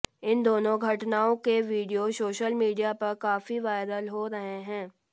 इन दोनों घटनाओं के वीडियो सोशल मीडिया पर काफी वायरल हो रहे हैं